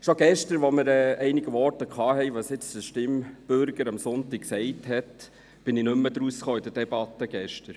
Schon gestern, als es in einigen Voten darum ging, was jetzt der Stimmbürger am Sonntag gesagt habe, verstand ich die Debatte nicht mehr.